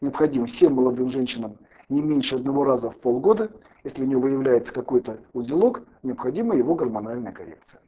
необходимо всем молодым женщинам не меньше одного раза в полгода если у неё выявляется какой-то узелок необходима его гормональная коррекция